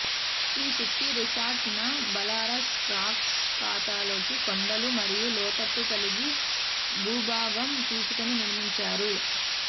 ఈ ski resort న Belarus tracks ఖాతాలోకి కొండలు మరియు లోతట్టు కలిగి భూభాగం తీసుకొని నిర్మించారు